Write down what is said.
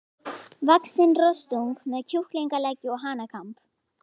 vaxinn rostung með kjúklingaleggi og hanakamb.